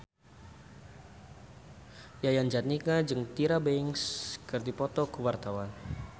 Yayan Jatnika jeung Tyra Banks keur dipoto ku wartawan